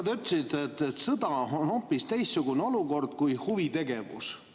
Te ütlesite, et sõda on hoopis teistsugune olukord kui huvitegevus.